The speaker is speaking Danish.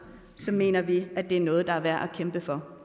mener vi at det er noget der er værd at kæmpe for